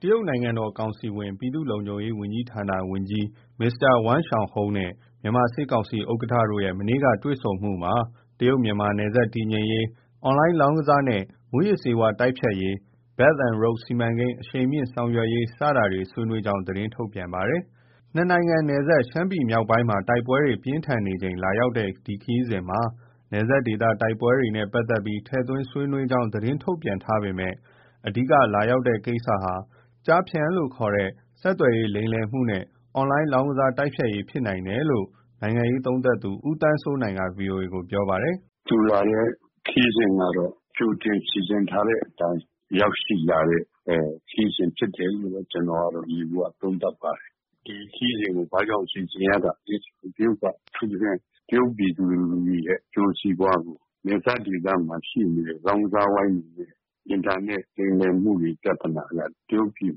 တရုတ်နိုင်ငံတော်ကောင်စီဝင်၊ ပြည်သူ့လုံခြုံရေးဝန်ကြီးဌာန ဝန်ကြီး Mr. Wang Xiaohong နဲ့ မြန်မာစစ်ကောင်စီဥက္ကဋ္ဌတို့ရဲ့ မနေ့က တွေ့ဆုံမှုမှာ တရုတ်-မြန်မာနယ်စပ်တည်ငြိမ်ရေး၊ အွန်လိုင်းလောင်းကစားနဲ့ မူးယစ်ဆေးဝါးတိုက်ဖျက်ရေး၊ Belt and Road စီမံကိန်း အရှိန်မြှင့် ဆောင်ရွက်ရေး စတာတွေ ဆွေးနွေးကြောင်း သတင်းထုတ်ပြန်ထားတာပါ။ ၂ နိုင်ငံ နယ်စပ် ရှမ်းပြည် မြောက်ပိုင်းမှာ တိုက်ပွဲတွေ ပြင်းထန်ချိန် လာရောက်တဲ့ ဒီခရီးစဉ်မှာ နယ်စပ်ဒေသတိုက်ပွဲတွေ နဲ့ပတ်သက်ပြီး ထည့်သွင်းဆွေးနွေးကြောင်း သတင်းထုတ်ပြန်ထားပေမဲ့ အဓိက လာရောက်တဲ့ ကိစ္စဟာ ကျားဖြန့် ခေါ် ဆက်သွယ်ရေးလိမ်လည်မှုနဲ့ အွန်လိုင်းလောင်းကစား တိုက်ဖျက်ရေး ဖြစ်နိုင်တယ်လို့ နိုင်ငံရေးသုံးသပ်သူ ဦးသန်းစိုးနိုင်က VOA ကို ပြောပါတယ်။ “ သူလာတဲ့ခရီးစဉ်ကတော့ ကြိုတင်စီစဉ်ထားတဲ့အတိုင်း ရောက်ရှိလာတဲ့ ခရီးစဉ်ဖြစ်တယ်လို့ ကျနော်က ယေဘူယျ သုံးသပ်ပါတယ်။ ဒီခရီးစဉ်နဲ့ပတ်သက်ပြီး ဘာကြောင့်စီစဉ်ရတာလဲဆို တရုတ်က အထူးသဖြင့် တရုတ်ပြည်သူလူထုတွေရဲ့ အကျိုးစီးပွားကို နယ်စပ်ဒေသမှာ ရှိနေတဲ့ လောင်းကစား ဝိုင်းတွေနဲ့ အင်တာနက် လိမ်လည်မှုပြဿနာက တရုတ်ပြည်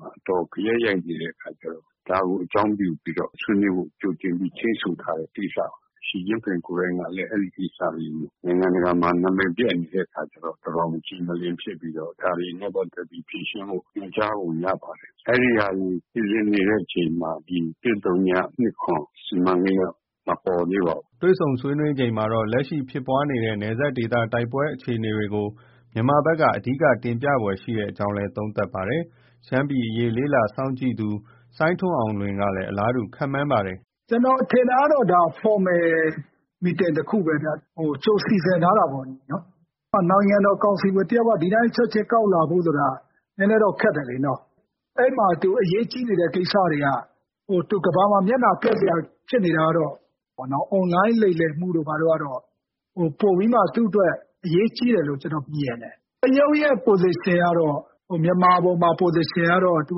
မှာ အတော်ဂယက်ရိုက် နေတဲ့အခါ ကျတော့ ဒါကို အကြောင်းပြုပြီး ဆွေးနွေးဖို့ ကြိုတင်ချိန်းဆိုထားတဲ့ ကိစ္စပါ။ ရှီကျင့်ဖျင်ကိုယ်တိုင်က လည်း အဲဒီကိစ္စတွေကို နိုင်ငံတကာမှာ နံမည်ပျက်နေတဲ့အခါကျတော့ တော်တော် မကြည်မလင် ဖြစ်နေပြီး ဒါတွေနဲ့ပတ်သက်ပြီး ညွှန်ကြားပုံရပါတယ်။ အဲဒီဟာတွေ စီစဉ်နေတဲ့အချိန်မှာ ၁၀၂၇ စီမံကိန်းက မပေါ်သေးပါဘူး။ ” တွေ့ဆုံဆွေးနွေးချိန်မှာတော့ လက်ရှိ ဖြစ်ပွားနေတဲ့ နယ်စပ်ဒေသတိုက်ပွဲအခြေအနေကို မြန်မာဘက် အဓိက တင်ပြဖွယ်ရှိကြောင်းလည်း သုံးသပ်ပါတယ်။ ရှမ်းပြည်နယ်အရေး လေ့လာစောင့်ကြည့်နေသူ စိုင်းထွန်းအောင်လွင်ကလည်း အလားတူ ခန့်မှန်းပါတယ်။ “ ကျနော်ထင်တာကတော့ ဒါ Formal meeting တခုပဲဗျ။ ကြိုစီစဉ်ထားတာပေါ့လေ။ နိုင်ငံတော် ကောင်စီဝင်တယောက် ဒီတိုင်း ချက်ချင်း ကောက်လာဖို့ဆိုတာ နည်းနည်းတော့ ခက်တယ်လေနော်။ အဲဒီမှာ သူအရေးကြီးနေတဲ့ ကိစ္စတွေက ကမ္ဘာမှာ မျက်နှာပျက်စရာ ဖြစ်နေတာကတော့ အွန်လိုင်း လိမ်လည်မှုတို့ ဘာတို့ကတော့ ပိုပြီးမှ သူ့အတွက် အရေးကြီးတယ်လို့ ကျနော် မြင်တယ်။ တရုတ်ရဲ့ Position ကတော့ မြန်မာပေါ်မှာ Position ကတော့ သူ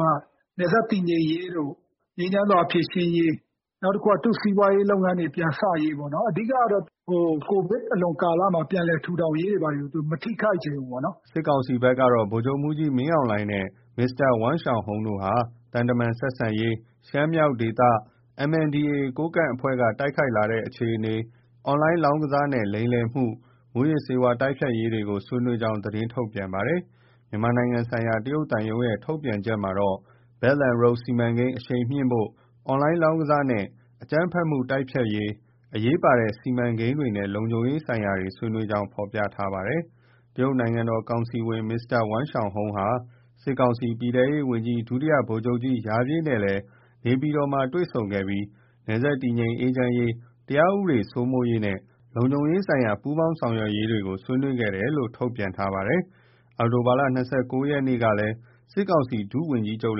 က နယ်စပ်တည်ငြိမ်ရေးတို့ ငြိမ်းချမ်းစွာ ဖြေရှင်းရေး နောက်တခုက သူ့စီးပွားရေးလုပ်ငန်းတွေ ပြန်စရေးပေါ့နော်။ အဓိကကတော့ ကိုဗစ်အလွန် ကာလမှာ ပြန်လည်ထူထောင်ရေးတွေ ဘာတွေကို သူ မထိခိုက်ချင်ဘူးပေ့ါနော်။” စစ်ကောင်စီဘက်ကတော့ ဗိုလ်ချုပ်မှုးကြီး မင်းအောင်လှိုင်နဲ့ Mr. Wang Xiaohong တို့ ဟာ သံတမန် ဆက်ဆံရေး၊ ရှမ်းမြောက်ဒေသ MNDAA ကိုးကန့်အဖွဲ့က တိုက်ခိုက်လာတဲ့ အခြေအနေ၊ အွန်လိုင်းလောင်းကစားနဲ့ လိမ်လည်မှု၊ မူးယစ်ဆေးဝါး တိုက်ဖျက်ရေး တွေကို ဆွေးနွေးကြောင်း သတင်းထုတ်ပြန်ပါတယ်။ မြန်မာနိုင်ငံဆိုင်ရာ တရုတ်သံရုံးရဲ့ ထုတ်ပြန်ချက်မှာတော့ Belt and Road စီမံကိန်း အရှိန်မြှင့်ဖို့၊ အွန်လိုင်းလောင်းကစား နဲ့ အကြမ်းဖက်မှု တိုက်ဖျက်ဖို့၊ အရေးပါတဲ့ စီမံကိန်းတွေနဲ့ လုံခြုံရေးဆိုင်ရာတွေ ဆွေးနွေးကြောင်း ဖော်ပြထားတာပါ။ တရုတ်နိုင်ငံတော်ကောင်စီဝင် Mr. Wang Xiaohong ဟာ စစ်ကောင်စီ ပြည်ထဲရေးဝန်ကြီး ဒုတိယဗိုလ်ချုပ်ကြီး ရာပြည့်နဲ့လည်း နေပြည်တော်မှာ တွေ့ဆုံခဲ့ပြီး နယ်စပ်တည်ငြိမ်အေးချမ်းရေး၊ တရားဥပဒေစိုးမိုးရေးနဲ့ လုံခြုံရေးဆိုင်ရာ ပူးပေါင်းဆောင်ရွက်ရေးတွေ ဆွေးနွေးခဲ့တယ်လို့ ဆိုပါတယ်။ အောက်တိုဘာလ ၂၉ ရက်နေ့ကလည်း စစ်ကောင်စီ ဒုတိယဝန်ကြီးချုပ်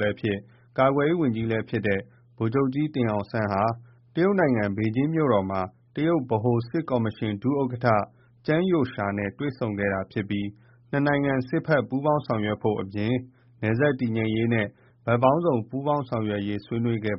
လည်းဖြစ် ကာကွယ်ရေးဝန်ကြီး လည်းဖြစ်တဲ့ ဗိုလ်ချုပ်ကြီးတင်အောင်စန်း ဟာ ဘေဂျင်းမှာ တရုတ်ဗဟိုစစ်ကော်မရှင် ဒုတိယ ဥက္ကဋ္ဌ Zhang Youxia နဲ့တွေ့ဆုံခဲ့တာဖြစ်ပြီး ၂ နိုင်ငံ စစ်ဘက်ပူးပေါင်းဆောင်ရွက်ဖို့ အပြင် နယ်စပ်တည်ငြိမ်ဖို့နဲ့ ဘက်ပေါင်းစုံပူးပေါင်းဆောင်ရွက်ဖို့ ဆွေးနွေးခဲ့